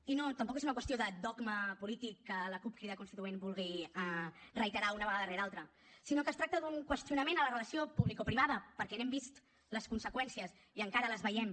i no tampoc és una qüestió de dogma polític que la cup crida constituent vulgui reiterar una vegada rere altra sinó que es tracta d’un qüestionament a la relació publicoprivada perquè n’hem vist les conseqüències i encara les veiem